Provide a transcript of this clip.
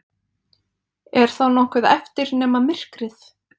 Er þá nokkuð eftir nema myrkrið?